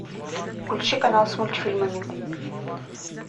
включи канал с мультфильмами